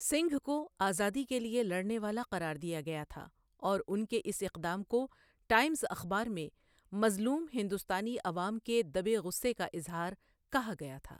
سنگھ کو 'آزادی کے لیے لڑنے والا' قرار دیا گیا تھا اور ان کے اس اقدام کو ٹائمز اخبار میں 'مظلوم ہندوستانی عوام کے دبے غصے کا اظہار' کہا گیا تھا۔